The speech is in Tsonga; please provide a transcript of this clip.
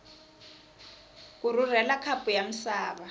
ku rhurhela khapu ya misava